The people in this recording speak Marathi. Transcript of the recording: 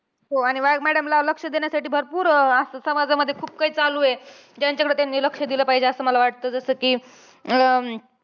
हो आणि madam ला लक्ष देण्यासाठी भरपूर असं समाजामध्ये खूप काही चालूये. ज्यांच्याकडे त्यांनी लक्ष दिलं पाहिजे. असं मला वाटतं. जसं कि अं